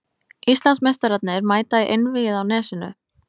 Íslandsmeistararnir mæta í Einvígið á Nesinu